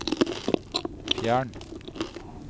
fjern